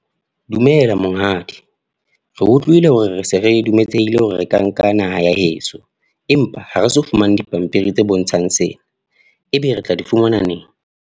Dumela monghadi. Re utlwile hore re se re dumeletsehile hore re ka nka naha ya heso. Empa ha re so fumane dipampiri tse bontshang sena. Ebe re tla di fumana neng?